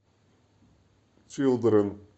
чилдрен